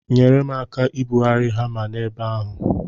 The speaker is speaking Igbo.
Nyere m aka ibugharị hama n'ebe ahụ.